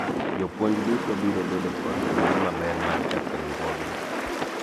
jopuonj duto biro bedo kod thuolo maber mar chako riwruogni